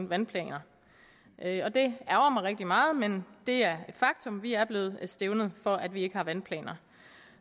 vandplaner og det ærgrer mig rigtig meget men det er et faktum vi er blevet stævnet for at vi ikke har vandplaner